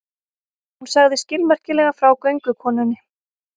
Hún sagði skilmerkilega frá göngukonunni.